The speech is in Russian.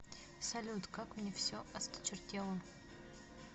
салют как мне все осточертело